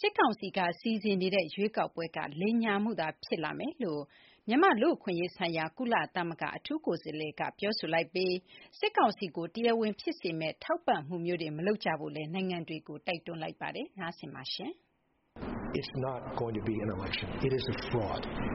စစ်ကောင်စီက စီစဉ်နေတဲ့ ရွေးကောက်ပွဲက လိမ်ညာမှုသာ ဖြစ်လာမယ်လို့ မြန်မာ့ လူ့အခွင့်အရေးဆိုင်ရာ ကုလသမဂ္ဂ အထူးကိုယ်စားလှယ်က ပြောဆိုလိုက်ပြီး စစ်ကောင်စီကို တရားဝင် ဖြစ်စေမယ့် ထောက်ပံ့မှုမျိုးတွေ နိုင်ငံတွေကို တိုက်တွန်းလိုက်ပါတယ်။ မသိင်္ဂ ီထိုက် တင်ပြပေးပါမယ်။ "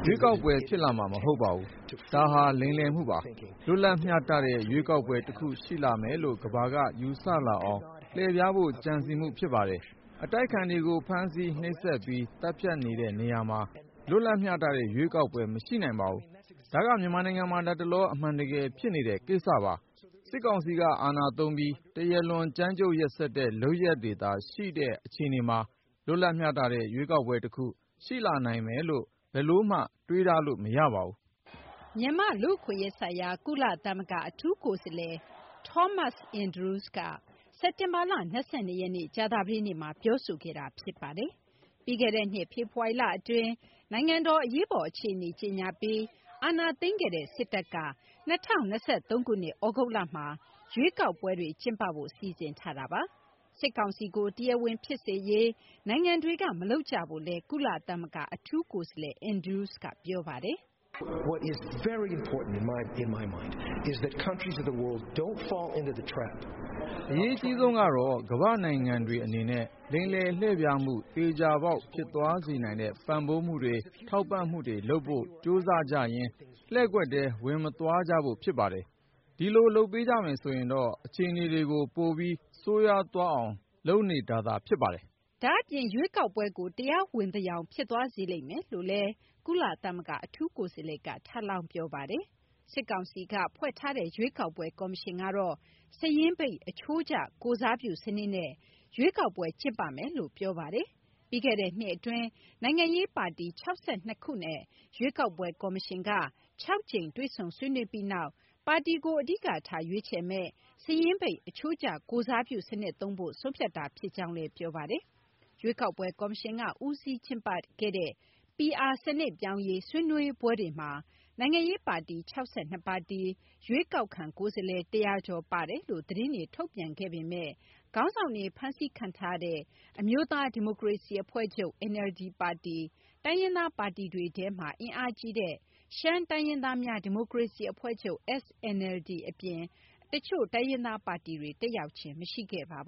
ရွေးကောက်ပွဲ ဖြစ်လာမှာ မဟုတ်ပါဘူး။ ဒါဟာ လိမ်လည်မှုပါ။ လွတ်လပ် မျှတတဲ့ ရွေးကောက်ပွဲ တခု ရှိလာမယ်လို့ ကမ ္ဘာက ယူဆလာအောင် လှည့်ဖျားဖို့ ကြံစည်မှု ဖြစ်ပါတယ်။ အတိုက်အခံတွေကို ဖမ်းဆီး၊ နှိပ်စက်ပြီး သတ်ဖြတ်နေတဲ့ နေရာမှာ လွတ်လပ်မျှတတဲ့ ရွေးကောက်ပွဲ မရှိနိုင်ပါဘူး။ ဒါက မြန်မာနိုင်ငံမှာ လတ်တလော အမှန်တကယ် ဖြစ်နေတဲ့ကိစ္စပါ။ စစ်ကောင်စီက အာဏာသုံးပြီး တရားလွန် ကြမ်းကြုတ် ရက်စက်တဲ့ လုပ်ရပ်တွေသာ ရှိနေတဲ့ အခြေအနေမှာ လွတ်လပ် မျှတတဲ့ ရွေးကောက်ပွဲ တခု ရှိလာနိုင်မယ်လို့ ဘယ်လိုမှ တွေးထားလို့ မရပါဘူး။ " မြန်မာ့ လူ့အခွင့်အရေးဆိုင်ရာ ကုလသမဂ္ဂ အထူးကိုယ်စားလှယ် Thomas Andrews က စက်တင်ဘာလ ၂၂ ရက်နေ့ ကြာသပတေးနေ့မှာ ပြောဆိုခဲ့တာ ဖြစ်ပါတယ်။ ပြီးခဲ့တဲ့နှစ် ဖေဖော်ဝါရီလ အတွင်း နိုင်ငံတော် အရေးပေါ် အခြေအနေ ကြေညာပြီး အာဏာသိမ်းခဲ့တဲ့ စစ်တပ်က ၂၀၂၃ ခုနှစ် သြဂုတ်လမှာ ရွေးကောက်ပွဲတွေ ကျင်းပဖို့ စီစဉ်ထားတာပါ။ စစ်ကောင်စီကို တရားဝင် ဖြစ်စေရေး နိုင်ငံတွေက မလုပ်ကြဖို့လည်း ကုလသမဂ္ဂ အထူးကိုယ်စားလှယ် Andrews က ပြောပါတယ်။ " အရေးအကြီးဆုံးကတော့ ကမ ္ဘာ့နိုင်ငံတွေ အနေနဲ့ လိမ်လည်လှည့်ဖျားမှု သေချာပေါက် ဖြစ်သွားစေနိုင်တဲ့ ပံ့ပိုးမှုတွေ ထောက်ပံ့မှုတွေ လုပ်ဖို့ ကြိုးစားကြရင်း လှည့်ကွက်ထဲ ဝင်မသွားကြဖို့ ဖြစ်ပါတယ်။ ဒီလို လုပ်ပေးကြမယ်ဆိုရင်တော့ အခြေအနေတွေကို ပိုပြီး ဆိုးရွားအောင် လုပ်နေတာသာ ဖြစ်ပါတယ်။ " ဒါ့အပြင် ရွေးကောက်ပွဲကို တရားဝင်သယောင် ဖြစ်သွားစေလိမ့်မယ်လို့လည်း ကုလသမဂ္ဂ အထူးကိုယ်စားလှယ်က ထပ်လောင်း ပြောပါတယ်။ စစ်ကောင်စီက ဖွဲ့ထားတဲ့ ရွေးကောက်ပွဲ ကော်မရှင်ကတော့ စာရင်းပိတ် အချိုးကျ ကိုယ်စားပြု စနစ်နဲ့ ရွေးကောက်ပွဲ ကျင်းပမယ်လို့ ပြောပါတယ်။ ပြီးခဲ့တဲ့ နှစ်အတွင်း နိုင်ငံရေးပါတီ ၆၂ ပါတီနဲ့ ရွေးကောက်ပွဲ ကော်မရှင်က ၆ ကြိမ်တွေ့ဆုံဆွေးနွေးပြီးနောက်မှာ ပါတီကို အဓိကထား ရွေးချယ်မယ့် စာရင်းပိတ် အချိုးကျကိုယ်စားပြုစနစ်သုံးဖို့ ဆုံးဖြတ်တာဖြစ်ကြောင်းလည်း ပြောပါတယ်။ ရွေးကောက်ပွဲ ကော်မရှင်က ဦးစီးကျင်းပခဲ့တဲ့ PR စနစ်ပြောင်းရေး ဆွေးနွေးနွေးပွဲတွေမှာ နိုင်ငံရေးပါတီ ၆၂ ပါတီ၊ ရွေးကောက်ခံ ကိုယ်စားလှယ် ၁၀၀ ကျော်ပါဝင်တယ်လို့ သတင်းတွေ ထုတ်ပြန်ခဲ့ပေမဲ့ ခေါင်းဆောင်တွေ ဖမ်းဆီးခံထားရတဲ့ အမျိုးသားဒီမိုကရေစီအဖွဲ့ချုပ် NLD ပါတီ၊ တိုင်းရင်းသားပါတီတွေထဲမှာ အင်အားကြီးတဲ့ ရှမ်းတိုင်းရင်းသားများဒီမိုကရေစီအဖွဲ့ချုပ် SNLD အပြင် တချို့တိုင်းရင်းသားပါတီတွေ တက်ရောက်ခြင်း မရှိခဲ့ပါဘူ